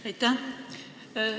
Aitäh!